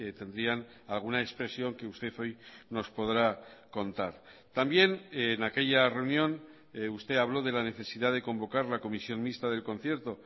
tendrían alguna expresión que usted hoy nos podrá contar también en aquella reunión usted habló de la necesidad de convocar la comisión mixta del concierto